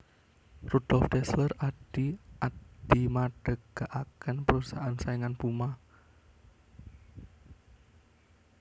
Rudolf Dassler adhi Adi madegaken perusahaan saingan Puma